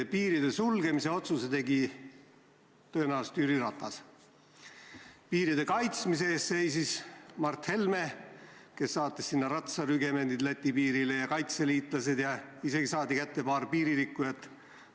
Piiri sulgemise otsuse tegi tõenäoliselt Jüri Ratas, piiri kaitsmise eest seisis Mart Helme, kes saatis ratsarügemendi ja kaitseliitlased Läti piirile ja isegi saadi kätte paar piiririkkujat.